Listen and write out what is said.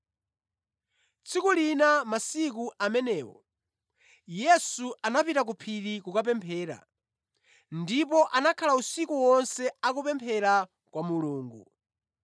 Tsiku lina, masiku amenewo, Yesu anapita ku phiri kukapemphera ndipo anakhala usiku wonse akupemphera kwa Mulungu.